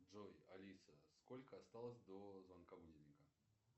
джой алиса сколько осталось до звонка будильника